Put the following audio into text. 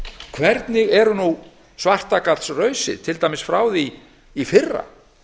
hvernig er nú svartagallsrausið til dæmis frá því í fyrra